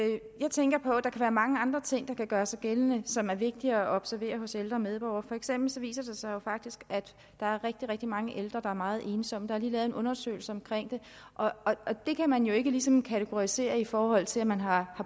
jeg tænker på at der kan være mange andre ting der kan gøre sig gældende og som er vigtige at observere hos ældre medborgere for eksempel viser det sig jo faktisk at der er rigtig rigtig mange ældre der er meget ensomme der er en undersøgelse om det og det kan jo ikke ligesom kategoriseres i forhold til at man har